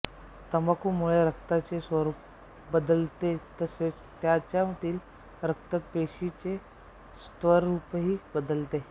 तंबाखूमुळे रक्ताचे स्वरूप बदलतेतसेच त्याच्यातील रक्त पेशीचेस्वरूपही बदलते